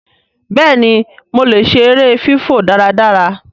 béèni mọ lẹ ṣe èrè fifọ dáradára.